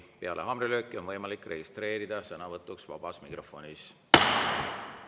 Peale haamrilööki on võimalik registreeruda sõnavõtuks vabas mikrofonis.